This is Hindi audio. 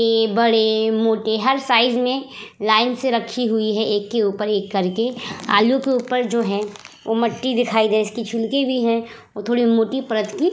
ए बड़े मोटे हर साइज में लाइन से रखी हुई है एक के ऊपर एक करके आलू के ऊपर जो है ओ मट्टी दिखाई दे इसके छुणके भी है। वो थोड़ी मोटी परत की--